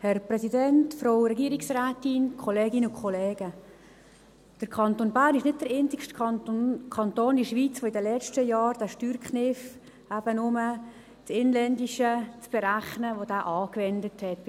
Der Kanton Bern ist nicht der einzige Kanton in der Schweiz, der in den letzten Jahren diesen Steuerkniff, bei den Lebensunterhaltskosten eben nur das Inländische zu berechnen, angewendet hat.